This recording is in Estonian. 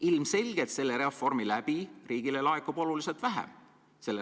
Ilmselgelt laekub reformi mõjul riigile seda raha oluliselt vähem.